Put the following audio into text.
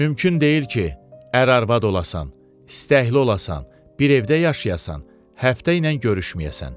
Mümkün deyil ki, ər arvad olasan, istəkli olasan, bir evdə yaşayasan, həftə ilə görüşməyəsən.